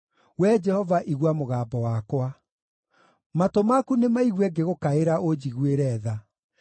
Wee Jehova, igua mũgambo wakwa. Matũ maku nĩmaigue ngĩgũkaĩra ũnjiguĩre tha.